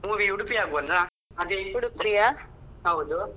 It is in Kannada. Movie Udupi ಆಗ್ಬೋದಾ ಹೌದು.